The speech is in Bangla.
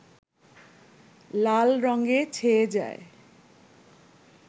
লাল রঙে ছেয়ে যায়